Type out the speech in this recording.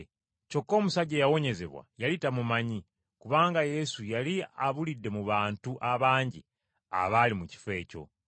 Kyokka omusajja eyawonyezebwa yali tamumanyi, kubanga Yesu yali abulidde mu bantu abangi abaali mu kifo ekyo.